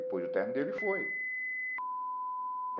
Depois o término dele foi.